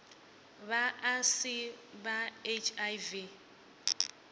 vha a si na hiv